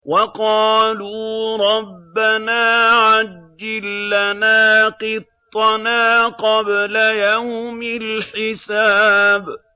وَقَالُوا رَبَّنَا عَجِّل لَّنَا قِطَّنَا قَبْلَ يَوْمِ الْحِسَابِ